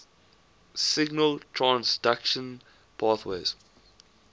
signal transduction pathways